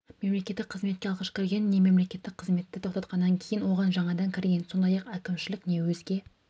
мемлекеттік қызметке алғаш кірген не мемлекеттік қызметті тоқтатқаннан кейін оған жаңадан кірген сондай-ақ әкімшілік не өзге